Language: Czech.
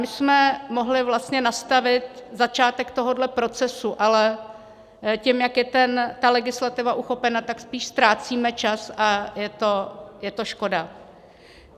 My jsme mohli vlastně nastavit začátek tohohle procesu, ale tím, jak je ta legislativa uchopena, tak spíš ztrácíme čas a je to škoda.